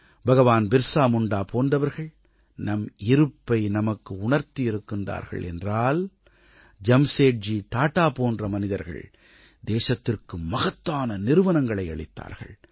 பகவான் பிர்ஸா முண்டா போன்றவர்கள் நம் இருப்பை நமக்கு உணர்த்தியிருக்கிறார்கள் என்றால் ஜம்சேட்ஜி டாடா போன்ற மனிதர்கள் தேசத்திற்கு மகத்தான நிறுவனங்களை அளித்தார்கள்